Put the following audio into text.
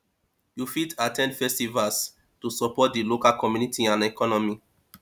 you fit at ten d festivals to support di local community and economy